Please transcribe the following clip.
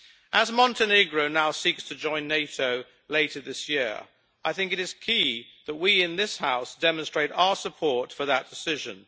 As Montenegro now seeks to join NATO later this year, I think it is key that we in this House demonstrate our support for that decision.